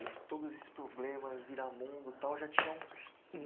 E todos esses problemas, Viramundo, tal, já tinham